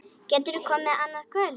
Geturðu komið annað kvöld?